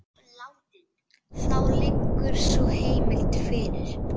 Þá liggur sú heimild fyrir.